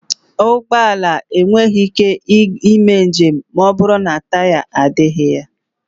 Ụgbọ ala enweghị ike ịme njem ma ọbụrụ na taya adịghị.